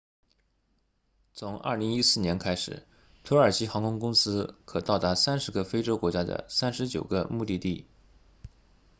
从2014年开始土耳其航空公司可到达30个非洲国家的39个目的地